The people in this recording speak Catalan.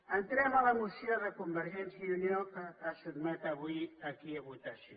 entrem a la moció de convergència i unió que es sotmet avui aquí a votació